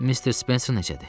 Missis Spencer necədir?